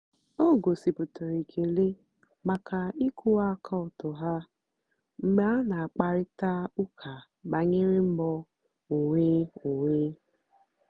o gòsíputàra èkélè maka ị̀kwụ́wà àka ọ́tọ́ ha mgbe a na-àkpárị̀ta ụ́ka bànyèrè mbọ́ onwé onwé.